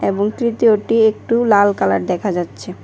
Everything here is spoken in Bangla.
একটু লাল কালার দেখা যাচ্ছে।